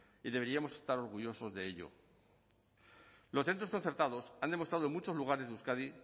y deberíamos estar orgullosos de ello los centros concertados han demostrado en muchos lugares de euskadi